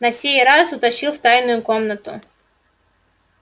на сей раз утащил в тайную комнату